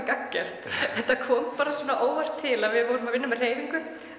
gagngert þetta kom óvart til að við vorum að vinna með hreyfingu